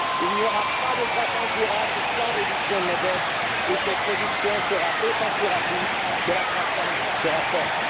Il n'y aura pas de croissance durable sans réduction de nos dettes et cette réduction sera d'autant plus rapide que la croissance sera forte.